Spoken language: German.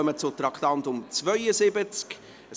Wir kommen zum Traktandum 72.